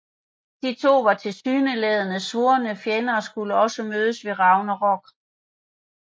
De to var tilsyneladende svorne fjender og skulle også mødes ved Ragnarok